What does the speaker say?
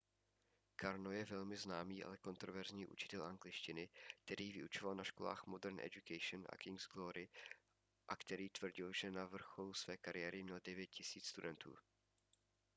karno je velmi známý ale kontroverzní učitel angličtiny který vyučoval na školách modern education a king's glory a který tvrdil že na vrcholu své kariéry měl 9 000 studentů